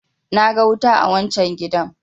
na ga wuta a wancan gidan!